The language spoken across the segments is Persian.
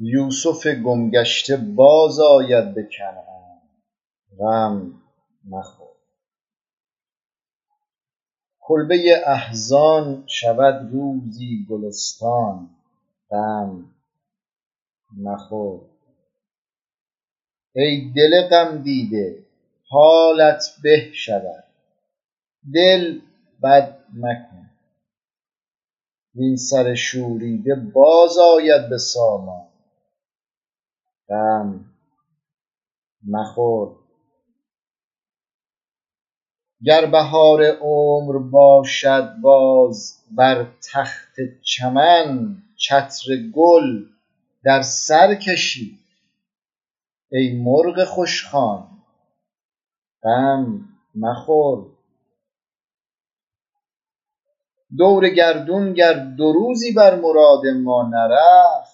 یوسف گم گشته بازآید به کنعان غم مخور کلبه احزان شود روزی گلستان غم مخور ای دل غمدیده حالت به شود دل بد مکن وین سر شوریده باز آید به سامان غم مخور گر بهار عمر باشد باز بر تخت چمن چتر گل در سر کشی ای مرغ خوشخوان غم مخور دور گردون گر دو روزی بر مراد ما نرفت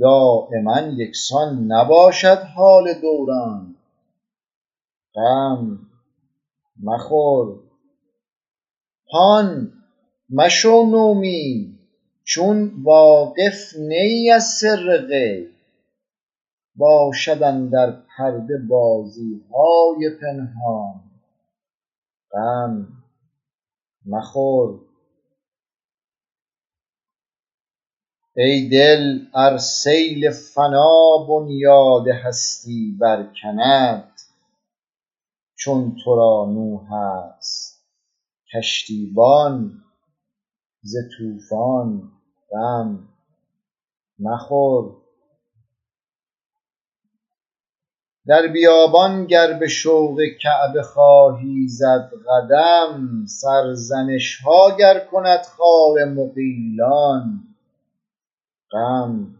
دایما یکسان نباشد حال دوران غم مخور هان مشو نومید چون واقف نه ای از سر غیب باشد اندر پرده بازی های پنهان غم مخور ای دل ار سیل فنا بنیاد هستی برکند چون تو را نوح است کشتیبان ز طوفان غم مخور در بیابان گر به شوق کعبه خواهی زد قدم سرزنش ها گر کند خار مغیلان غم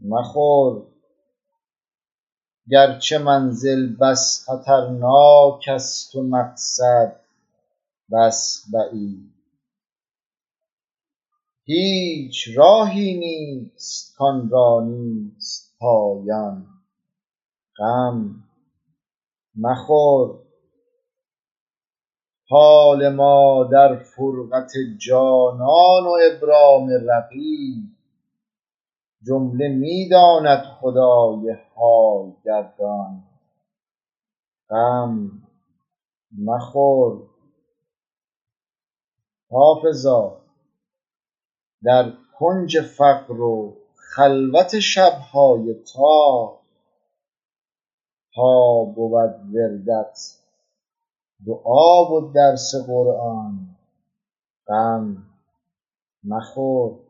مخور گرچه منزل بس خطرناک است و مقصد بس بعید هیچ راهی نیست کآن را نیست پایان غم مخور حال ما در فرقت جانان و ابرام رقیب جمله می داند خدای حال گردان غم مخور حافظا در کنج فقر و خلوت شب های تار تا بود وردت دعا و درس قرآن غم مخور